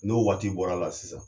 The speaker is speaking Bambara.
N'o waati bɔra la sisan